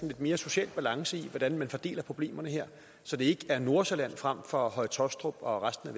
lidt mere social balance i hvordan man fordeler problemerne her så det ikke er nordsjælland frem for høje taastrup og resten